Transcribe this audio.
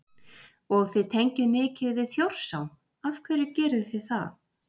Og þið tengið mikið við Þjórsá, af hverju gerið þið það?